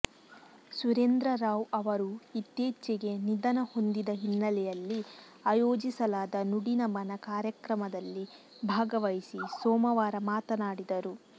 ಸುರೇಂದ್ರ ರಾವ್ ಅವರು ಇತ್ತೀಚೆಗೆ ನಿಧನ ಹೊಂದಿದ ಹಿನ್ನೆಲೆಯಲ್ಲಿ ಆಯೋಜಿಸಲಾದ ನುಡಿನಮನ ಕಾರ್ಯಕ್ರಮದಲ್ಲಿ ಭಾಗವಹಿಸಿ ಸೋಮವಾರ ಮಾತನಾಡಿದರು